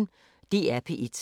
DR P1